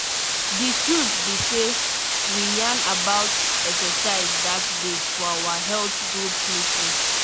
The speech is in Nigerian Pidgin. the truth be sey we yan about exercise that day for our health group meeting.